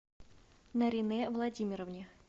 наринэ владимировне